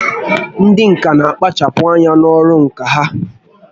Ndị ǹkà n'akpachapụ anya n'ọrụ ǹkà ha